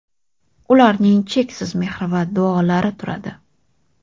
ularning cheksiz mehri va duolari turadi.